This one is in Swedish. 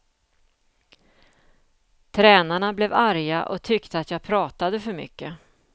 Tränarna blev arga och tyckte att jag pratade för mycket.